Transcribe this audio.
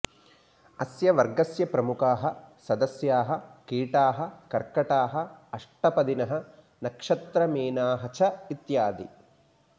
अस्य वर्गस्य प्रमुखाः सदस्याः कीटाः कर्कटाः अष्टपदिनः नक्षत्रमीनाः च इत्यादि